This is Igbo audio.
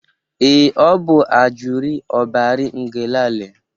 Ee, ọ bụ Ajuri Obari Ngelale.